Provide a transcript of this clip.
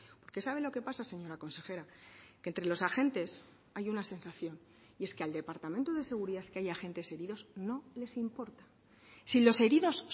porque sabe lo que pasa señora consejera que entre los agentes hay una sensación y es que al departamento de seguridad que haya agentes heridos no les importa si los heridos